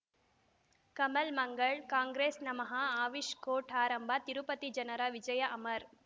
ಕಮಲ್ ಮಂಗಳ್ ಕಾಂಗ್ರೆಸ್ ನಮಃ ಅವಿಷ್ ಕೋರ್ಟ್ ಆರಂಭ ತಿರುಪತಿ ಜನರ ವಿಜಯ ಅಮರ್